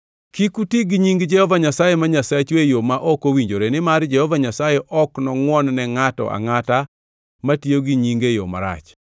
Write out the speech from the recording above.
Kik uti gi nying Jehova Nyasaye ma Nyasachu e yo ma ok owinjore, nimar Jehova Nyasaye ok nongʼwon ne ngʼato angʼata matiyo gi nyinge e yo marach.